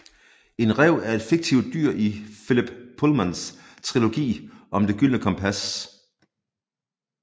En ræv er en fiktivt dyr i Philip Pullmans trilogi om Det gyldne kompas